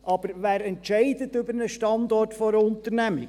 Aber wer entscheidet über den Standort einer Unternehmung?